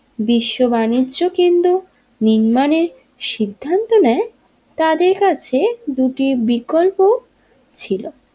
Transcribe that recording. বিশ্ব বাণিজ্য কেন্দ্র নির্মাণের সিদ্ধান্ত নেই তাদের কাছে দুটি বিকল্প ছিল।